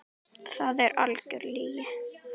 Það er algjör lygi.